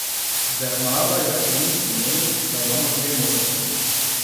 Bernarda Jaklin meni, da imamo dve možnosti.